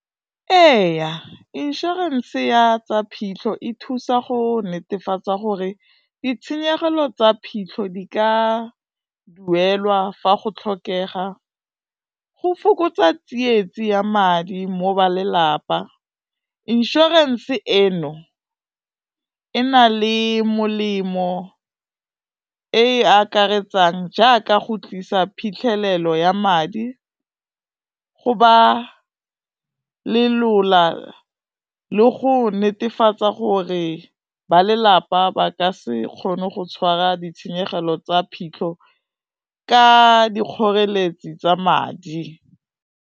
Eya inšorense ya tsa phitlho e thusa go netefatsa gore ditshenyegelo tsa phitlho di ka duelwa fa go tlhokega, go fokotsa tsietsing ya madi mo ba lelapa, insurance eno e na le molemo e e akaretsang jaaka go tlisa phitlhelelo ya madi, go ba lolea go netefatsa gore ba lelapa ba ka se kgone go tshwara ditshenyegelo tsa phitlho ka dikgoreletsi tsa madi.